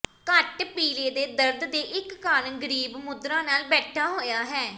ਘੱਟ ਪੀਲੇ ਦੇ ਦਰਦ ਦੇ ਇੱਕ ਕਾਰਨ ਗਰੀਬ ਮੁਦਰਾ ਨਾਲ ਬੈਠਾ ਹੋਇਆ ਹੈ